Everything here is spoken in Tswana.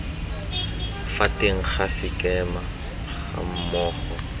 fa teng ga sekema gammogo